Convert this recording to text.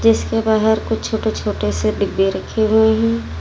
इसके बाहर कुछ छोटे छोटे से डिब्बे रखे हुए हैं।